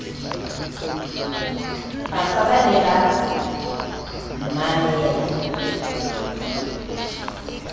afa ba ne ba mmamela